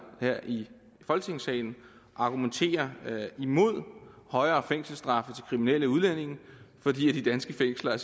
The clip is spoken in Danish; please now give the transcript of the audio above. her i folketingssalen argumentere imod højere fængselsstraffe til kriminelle udlændinge fordi de danske fængsler